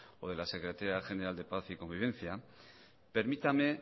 o de la secretaría general de paz y convivencia permítame